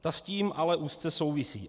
Ta s tím ale úzce souvisí.